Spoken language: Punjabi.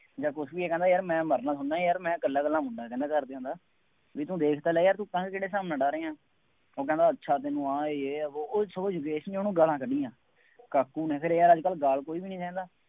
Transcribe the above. ਜਾਂ ਕੁੱਛ ਵੀ ਆ, ਕਹਿੰਦਾ ਯਾਰ ਮੈਂ ਮਰਨਾ ਥੋੜ੍ਹਾ ਨਾ ਯਾਰ ਮੈਂ ਇਕੱਲਾ ਇਕੱਲਾ ਮੁੰਡਾ ਕਹਿੰਦਾ ਘਰਦਿਆਂ ਦਾ ਬਈ ਤੂੰ ਦੇਖ ਤਾਂ ਲੈ ਯਾਰ ਤੂੰ ਪਤੰਗ ਕਿਹੜੇ ਹਿਸਾਬ ਨਾਲ ਉਡਾ ਰਿਹਾਂ। ਉਹ ਕਹਿੰਦਾ ਅੱਛਾ ਤੈਨੂੰ ਆਹ ਹੈ, ਯੇਹ ਹੈ, ਵੋਹ, ਉਹ ਸਮਝ ਗਏ ਸੀ ਉਹਨੂੰ ਗਾਲਾਂ ਕੱਢੀਆਂ। ਕਾਕੂ ਨੇ ਫੇਰ ਯਾਰ ਅੱਜ ਕੱਲ੍ਹ ਗਾਲ ਕੋਈ ਵੀ ਨਹੀਂ ਸਹਿੰਦਾ।